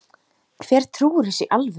Hver trúir þessu í alvöru?